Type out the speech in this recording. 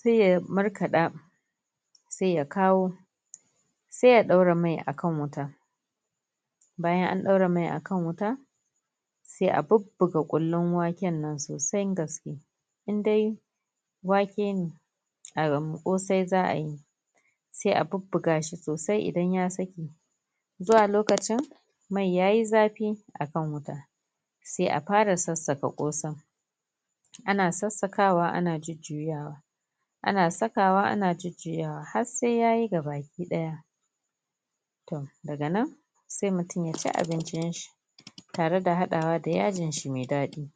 sai ya markaɗa sai ya kawo sai ya ɗaura mai akan wuta bayan an ɗaura mai akan wuta sai a bubbuga kullin waken nan sai gaske indai wake ne a ram kosai za'a yi sai a bubbu gashi sosai sai ya sake zuwa lokacin mai yayi zafi akan wuta sai a fara sassaka kosai ana sassakawa ana jujjuya wa ana saka wa ana jujjuya wa har sai yayi gaba ki ɗaya to daga nan sai mutum yaci abincin shi tare da haɗawa da yajin shi mai daɗi